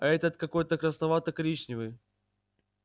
а этот какой то красновато коричневый